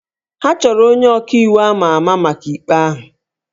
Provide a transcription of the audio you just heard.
Ha chọrọ onye ọka iwu àmá àmá maka ikpe ahụ